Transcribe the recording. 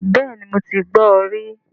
Bẹ́ẹ̀ni mo ti gbọ rí